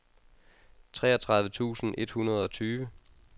treogtredive tusind et hundrede og tyve